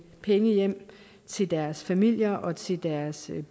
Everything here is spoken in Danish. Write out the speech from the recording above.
penge hjem til deres familier og til deres